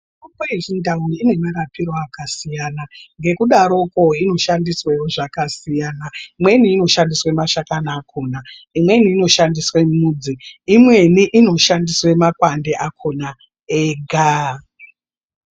Mitombo yechindau ine marapire akasiyana, ngekudaroko, inoshandiswawo zvakasiyana. Imweni inoshandiswe mashakani akhona, imweni inoshandiswe mudzi, imweni inoshandiswe makwande akhona ega.